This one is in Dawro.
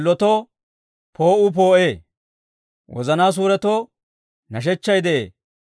S'illotoo poo'uu poo'ee; wozanaa suuretoo nashechchay de'ee.